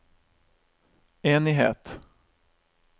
enighet